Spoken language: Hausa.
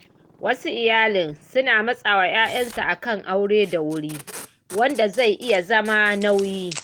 Wasu iyalai suna matsawa ƴaƴansu akan aure da wuri, wanda zai iya zama nauyi.